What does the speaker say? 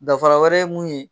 Dafara wɛrɛ ye mun ye.